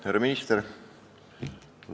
Härra minister!